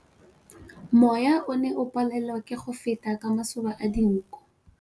Mowa o ne o palelwa ke go feta ka masoba a dinko.